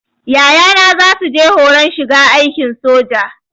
Yayana zasu je horon shiga aikin soja